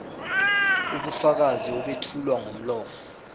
ubufakazi obethulwa ngomlomo